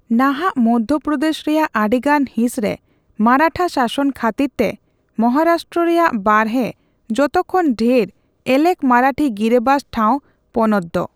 ᱱᱟᱦᱟᱜ ᱢᱚᱫᱷᱭᱚᱯᱚᱫᱮᱥ ᱨᱮᱭᱟᱜ ᱟᱹᱰᱤᱜᱟᱱ ᱦᱤᱸᱥ ᱨᱮ ᱢᱟᱨᱟᱴᱷᱟ ᱥᱟᱥᱚᱱ ᱠᱷᱟᱹᱛᱤᱨ ᱛᱮ, ᱢᱚᱦᱟᱨᱟᱥᱴᱨᱚ ᱨᱮᱭᱟᱜ ᱵᱟᱨᱦᱮ ᱡᱚᱛᱚ ᱠᱷᱚᱱ ᱰᱷᱮᱨ ᱮᱞᱮᱠ ᱢᱟᱨᱟᱴᱷᱤ ᱜᱤᱨᱟᱹᱵᱟᱥ ᱴᱷᱟᱣ ᱯᱚᱱᱚᱛᱫᱚ ᱾